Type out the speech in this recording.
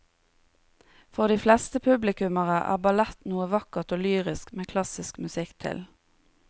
For de fleste publikummere er ballett noe vakkert og lyrisk med klassisk musikk til.